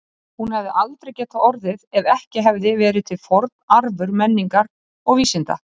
Hún hefði aldrei getað orðið ef ekki hefði verið til forn arfur menningar og vísinda.